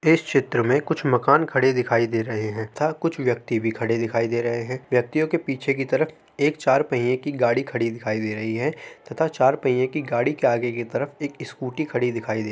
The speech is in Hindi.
इस क्षेत्र में कुछ मकान खड़े दिखाई दे रहे हैं तथा कुछ व्यक्ति भी खड़े दिखाई दे रहे हैं। व्यक्तियों के पीछे की तरफ एक चार पहिए की गाड़ी खड़ी दिखाई दे रही है तथा चार पहिए की गाड़ी के आगे की तरफ एक स्कूटी खड़ी दिखाई दे रही --